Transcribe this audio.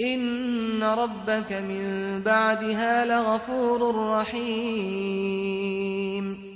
إِنَّ رَبَّكَ مِن بَعْدِهَا لَغَفُورٌ رَّحِيمٌ